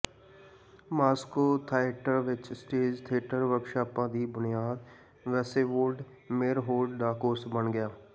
Moscow theatre ਵਿਚ stage theatre ਵਰਕਸ਼ਾਪਾਂ ਦੀ ਬੁਨਿਆਦ ਵੇਸੇਵੋਲਡ ਮੇਅਰਹੋਲਡ ਦਾ ਕੋਰਸ ਬਣ ਗਿਆ